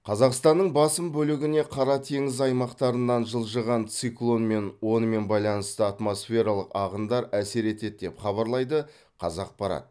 қазақстанның басым бөлігіне қара теңіз аймақтарынан жылжыған циклон мен онымен байланысты атмосфералық ағындар әсер етеді деп хабарлайды қазақпарат